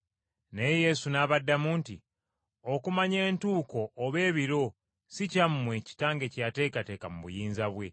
Naye Yesu n’abaddamu nti, “Okumanya entuuko oba ebiro si kyammwe, kitange kye yateekateeka mu buyinza bwe.